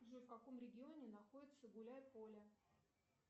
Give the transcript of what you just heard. джой в каком регионе находится гуляй поле